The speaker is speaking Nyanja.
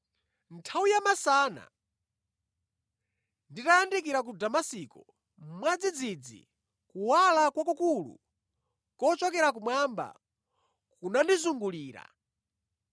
“Nthawi ya masana, nditayandikira ku Damasiko, mwadzidzidzi kuwala kwakukulu kochokera kumwamba kunandizungulira.